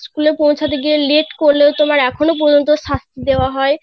school এ পৌছাতে গিয়ে late করলে তোমার এখনো পর্যন্ত শাস্তি দেওয়া হয়